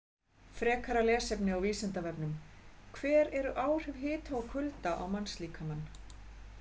Frekara lesefni á Vísindavefnum: Hver eru áhrif hita og kulda á mannslíkamann?